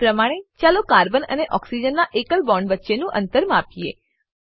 એજ પ્રમાણે ચાલો કાર્બન અને ઓક્સિજન નાં એકલ બોન્ડ વચ્ચેનું અંતર માપીએ